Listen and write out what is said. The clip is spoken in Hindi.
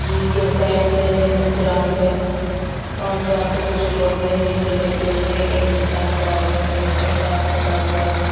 ये एक क्रिकेट फील्ड है ग्राउंड है और जहाँ पे कुछ लोग है नीचे लेटे हुए एक इंसान खड़ा हुआ है उसने उसका पैर पकड़ा हुआ है।